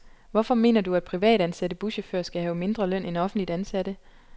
Hvorfor mener du, at privatansatte buschauforer skal have mindre løn end offentligt ansatte?